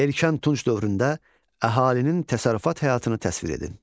Erkən Tunc dövründə əhalinin təsərrüfat həyatını təsvir edin.